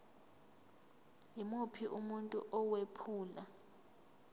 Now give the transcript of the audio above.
yimuphi umuntu owephula